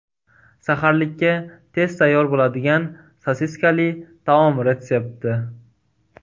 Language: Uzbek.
Saharlikka tez tayyor bo‘ladigan sosiskali taom retsepti.